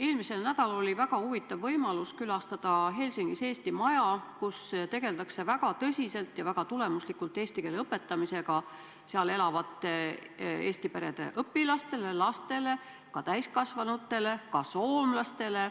Eelmisel nädalal oli väga huvitav võimalus Helsingis külastada Eesti Maja, kus tegeldakse väga tõsiselt ja väga tulemuslikult eesti keele õpetamisega seal elavate eesti perede õpilastele, lastele, ka täiskasvanutele, samuti soomlastele.